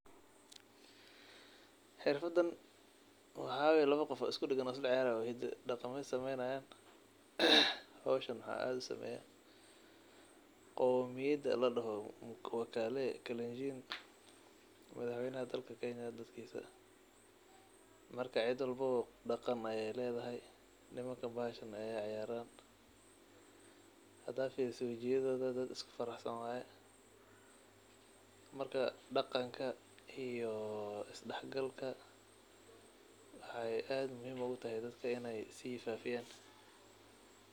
Xirfadan waxaa waye lawa qof oo iskudagan oo sialciyaarayo oo hidi iyo daqamaha sameynayaan. Howshan waxaa aad usameyaa qomyada ladoho makutaley kelinjin, madhah weynaha dalka kenya dadkisa. Marka cid walba bo daqan ayeey leedhahy, nimankan bahashan ayeey ciyaaran hadaad firiso wajiyadhioodha dad iskuraxsan waaye. Marka daqanka iyo isdaxgalka waxey aad muhiim ugutahy dadka in eeyy sii faafiyan.